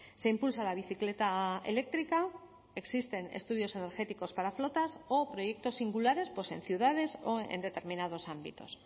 se impulsa la bicicleta eléctrica existen estudios energéticos para flotas o proyectos singulares en ciudades o en determinados ámbitos